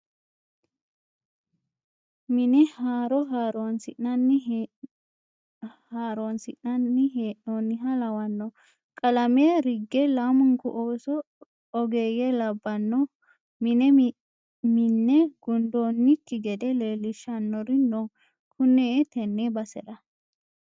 Mine haaro haaronsi'nanni hee'noniha lawano qalame ringe lamunku ooso ogeeyye labbano mine minne gundonki gede leelishanori no kune tene basera.